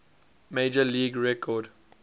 major league record